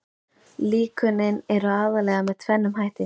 Líkönin eru aðallega með tvennum hætti.